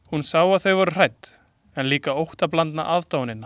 Hún sá að þau voru hrædd, en líka óttablandna aðdáunina.